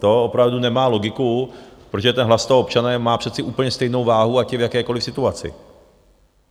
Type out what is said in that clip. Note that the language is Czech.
To opravdu nemá logiku, protože ten hlas toho občana má přece úplně stejnou váhu, ať je v jakékoliv situaci.